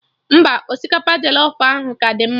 Mba, osikapa jọlọf ahụ ka dị mma